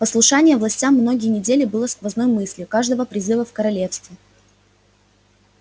послушание властям многие недели было сквозной мыслью каждого призыва в королевстве